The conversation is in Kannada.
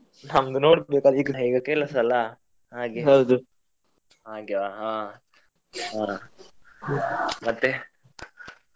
ನಮ್ದು ನೋಡ್ಬೇಕು ಅದ್ ಕೆಲಸ ಅಲ್ಲ ಹಾಗೆ ಹಾಗೆ ಹಾ ಹಾ ಮತ್ತೆ.